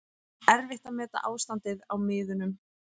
Erfitt að meta ástandið á miðunum